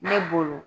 Ne bolo